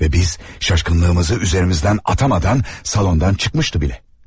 Və biz şaşkınlığımızı üzərimizdən atamadan salondan çıxmışdı bile.